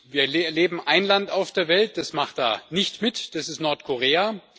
Wir erleben ein Land auf der Welt, das macht da nicht mit, nämlich Nordkorea.